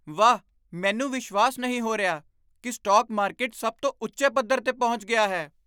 ਵਾਹ, ਮੈਨੂੰ ਵਿਸ਼ਵਾਸ ਨਹੀਂ ਹੋ ਰਿਹਾ ਕਿ ਸਟਾਕ ਮਾਰਕੀਟ ਸਭ ਤੋਂ ਉੱਚੇ ਪੱਧਰ 'ਤੇ ਪਹੁੰਚ ਗਿਆ ਹੈ!